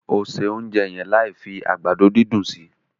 O se ounjẹ yẹn láì fi àgbàdo dundun sí!